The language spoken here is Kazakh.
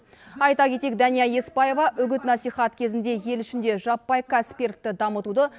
айта кетейік дәния еспаева үгіт насихат кезінде ел ішінде жаппай кәсіпкерлікті дамытуды